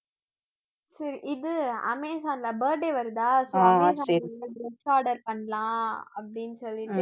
சரி இது அமேசான்ல birthday வருதா சரி dress order பண்ணலாம் அப்படின்னு சொல்லிட்டு